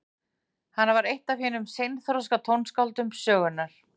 Hann var eitt af hinum seinþroska tónskáldum sögunnar.